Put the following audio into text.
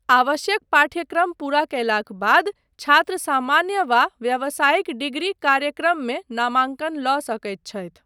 आवश्यक पाठ्यक्रम पूरा कयलाक बाद छात्र सामान्य वा व्यावसाय़िक डिग्री कार्यक्रममे नामांकन लऽ सकैत छथि।